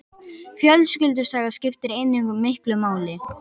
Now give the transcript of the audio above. Fjölskyldusaga skiptir einnig miklu máli.